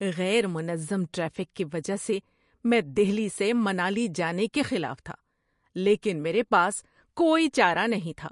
غیر منظم ٹریفک کی وجہ سے میں دہلی سے منالی جانے کے خلاف تھا، لیکن میرے پاس کوئی چارہ نہیں تھا۔